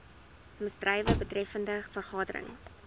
misdrywe betreffende vergaderings